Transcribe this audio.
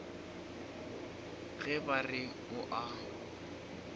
ge ba re o a